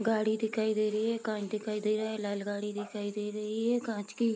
गाड़ी दिखाई दे रही है काँच दिखाई दे रहा है लाल गाड़ी दिखाई दे रही है काँच की।